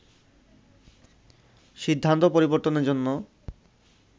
সিদ্ধান্ত পরিবর্তনের জন্য